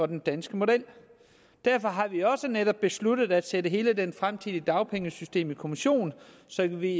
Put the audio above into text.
den danske model derfor har vi også netop besluttet at sætte hele det fremtidige dagpengesystem i kommission så vi